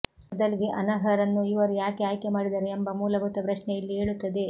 ಮೊದಲಿಗೆ ಅನರ್ಹರನ್ನು ಇವರು ಯಾಕೆ ಆಯ್ಕೆ ಮಾಡಿದರು ಎಂಬ ಮೂಲಭೂತ ಪ್ರಶ್ನೆ ಇಲ್ಲಿ ಏಳುತ್ತದೆ